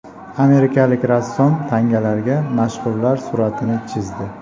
Amerikalik rassom tangalarga mashhurlar suratini chizdi .